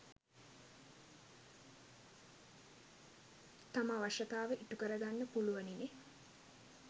තම අවශ්‍යතාව ඉටු කර ගන්න පුලුවනිනේ